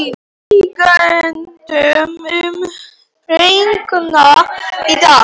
Bjargmundur, mun rigna í dag?